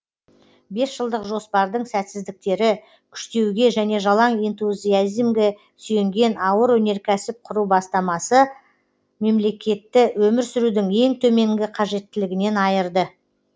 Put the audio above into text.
бесжылдық жоспардың сәтсіздіктері күштеуге және жалаң энтузиазмге сүйенген ауыр өнеркәсіп құру бастамасы мемлекетті өмір сүрудің ең төменгі қажеттілігінен айырды